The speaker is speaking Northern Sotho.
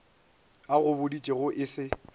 a go boditšego e se